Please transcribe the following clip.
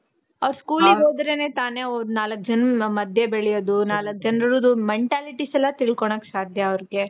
ಅವ್ರು school ಗೆ ಹೊದ್ರೆನೆ ತಾನೇ ಅವ್ರು ನಾಲಕ್ಕು ಜನದ್ದು ಮಧ್ಯ ಬೆಳಿಯೋದು. ನಾಲಕ್ಕು ಜನ್ರುದು mentalities ಎಲ್ಲಾ ತಿಳ್ಕೋಳೋಕೆ ಸಾಧ್ಯ ಅವ್ರ್ಗೆ